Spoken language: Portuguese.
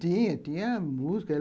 Tinha, tinha música.